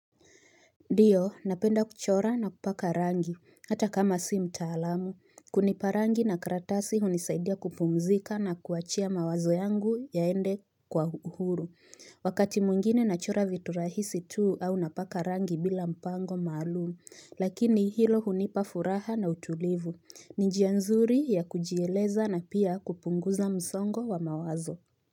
Ndiyo, napenda kuchora na kupaka rangi, hata kama si mtaalamu. Kunipa rangi na karatasi hunisaidia kupumzika na kuachia mawazo yangu yaende kwa uhuru. Wakati mwingine nachora vitu rahisi tuu au napaka rangi bila mpango maalum. Lakini hilo hunipa furaha na utulivu. Ni njia nzuri ya kujieleza na pia kupunguza mzongo wa mawazo.